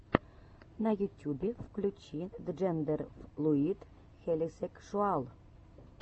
на ютюбе включи джендерфлуид хелисекшуал